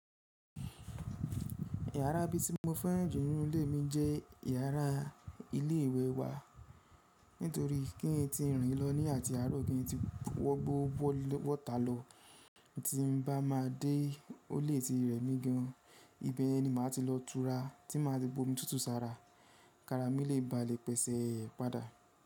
Yàrá bí tí mo fẹ́ran jù nínú ilé mi jẹ́ yàrá ilé ìwẹ̀ wa nítorí kí n ti rìn lọ ní àti àárọ̀ kí n tó wọ gbogbo wọ́tà lọ, tí n bá ma dé olè ti rẹ̀ mí gan, ibẹ̀ ni màá ti lọ tura tí màá ti bomi tútù sára, kára mi lè ba lè pèsè padà.